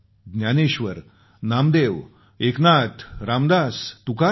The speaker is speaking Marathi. ज्ञानेश्वर नामदेव एकनाथ रामदास तुकाराम